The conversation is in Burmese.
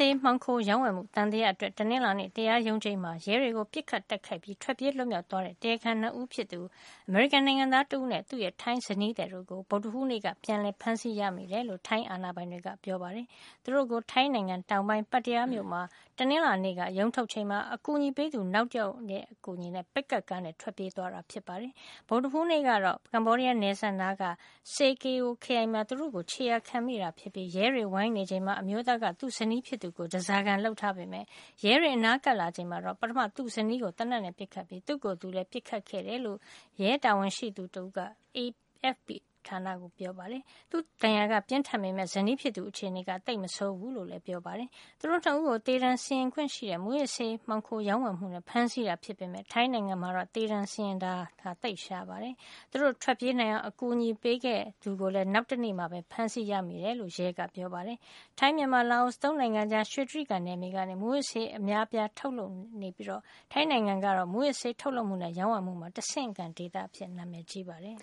ေး မှောင်ခိုရောင်းဝယ်မှု သံသယအတွက် တနင်္လာနေ့ တရားရုံးချိန်းမှာ ရဲတွေကို ပစ်ခတ်တိုက်ခိုက်ပြီး ထွက်ပြေးလွတ်မြောက် သွားခဲ့တဲ့ တရားခံ ၂ ဦးဖြစ်သူ အမေရိကန်နိုင်ငံသားတဦးနဲ့ သူ့ရဲ့ထိုင်းဇနီးသည်တို့ကို ဗုဒ္ဓဟူးနေ့က ပြန်လည် ဖမ်းဆီးရမိတယ်လို့ ထိုင်းအာဏာပိုင်တွေက ပြောပါတယ်။ သူတို့ကို ထိုင်းနိုင်ငံ တောင်ပိုင်း Pattaya မြို့မှာ တနင်္လာနေ့က ရုံးထုတ်ချိန်မှာ အကူအညီပေးသူ နောက်တယောက်နဲ့ အတူ ပစ်ကပ်ကားနဲ့ ထွက်ပြေးသွားခဲ့တာပါ။ ဗုဒ္ဓဟူးနေ့ကတော့ ကမ္ဘောဒီးယားနယ်စပ်နားက Sa Kaeo ခရိုင်မှာ သူတို့ကို ခြေရာခံမိခဲ့တာ ဖြစ်ပြီး ရဲတွေဝိုင်းနေချိန်မှာ အမျိုးသားက သူ့ဇနီးဖြစ်သူကို ဓါးစာခံ လုပ်ထားပေမယ့် ရဲတွေအနားကပ် လာချိန်မှာတော့ ပထမ သူ့ဇနီးကို သေနတ်နဲ့ပစ်ခဲ့ပြီး သူ့ကိုယ်သူလည်း ပစ်ခတ်ခဲ့တယ်လို့ ရဲတာဝန်ရှိသူက AFP သတင်းဌာနကို ပြောပါတယ်။ သူ့ဒဏ်ရာက ပြင်းထန်ပေမယ့် ဇနီးဖြစ်သူရဲ့ အခြေနေကတော့ သိပ်မဆိုးဘူးလို့လည်း ပြောပါတယ်။ သူတို့ ၂ ဦးကို သေဒဏ်စီရင်ခွင့်ရှိတဲ့ မူးယစ်ဆေး မှောင်ခိုရောင်းဝယ်မှုနဲ့ ဖမ်းဆီးတာ ဖြစ်ပေမယ့် ထိုင်းနိုင်ငံမှာ သေဒဏ်စီရင်တာကတော့ သိပ်ရှားပါတယ်။ သူတို့ထွက်ပြေးနိုင်အောင် အကူညီပေးခဲ့သူကိုလည်း နောက်တနေရာမှာ ဖမ်းမိတယ်လို့ ရဲက ပြောပါတယ်။ ထိုင်း- မြန်မာ- လာအို ၃ နိုင်ငံကြား ရွှေတြိဂံနယ်မြေကနေ မူးယစ်ဆေးဝါးအများအပြား ထုတ်လုပ်မှုရှိနေပြီး ထိုင်းနိုင်ငံကတော့ မူးယစ်ဆေး ထုတ်လုပ်မှုနဲ့ ရောင်းဝယ်မှုမှာ တဆင့်ခံဒေသအဖြစ် နာမည် ကြီးပါတယ်